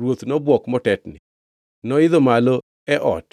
Ruoth nobwok motetni. Noidho malo e ot